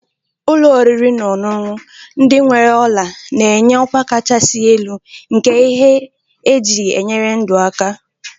Ụlọ oriri na ọṅụṅụ ndị nwere ola na-enye ọkwa kachasị elu nke ihe eji enyere ndụ aka.